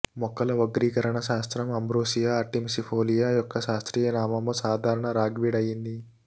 మొక్కల వర్గీకరణ శాస్త్రం అంబ్రోసియా ఆర్టిమిసిఫోలియా యొక్క శాస్త్రీయ నామము సాధారణ రాగ్వీడ్ అయింది